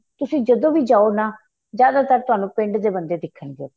ਤੁਸੀਂ ਜਦੋਂ ਵੀ ਜਾਹੋ ਨਾ ਜਿਆਦਾਤਰ ਤਹਾਨੂੰ ਪਿੰਡ ਦੇ ਬੰਦੇ ਦਿਖਣ ਗਏ